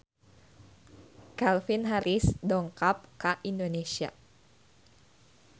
Calvin Harris dongkap ka Indonesia